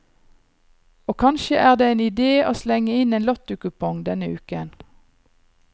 Og kanskje er det en idé å slenge inn en lottokupong denne uken.